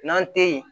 N'an tɛ ye